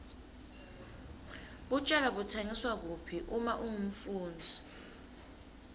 tjwala butsengwa kuphi uma ungumfundzi